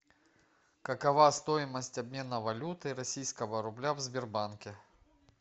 какова стоимость обмена валюты российского рубля в сбербанке